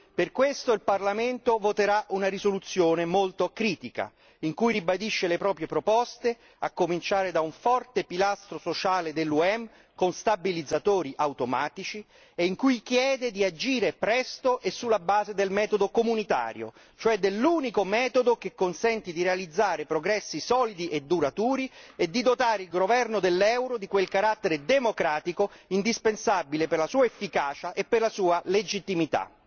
Per questo il Parlamento voterà una risoluzione molto critica, in cui ribadisce le proprie proposte, a cominciare da un forte pilastro sociale dell'UE con stabilizzatori automatici, e in cui chiede di agire presto e sulla base del metodo comunitario, cioè dell'unico metodo che consenti di realizzare progressi solidi e duraturi e di dotare il governo dell'euro di quel carattere democratico indispensabile per la sua efficacia e per la sua legittimità.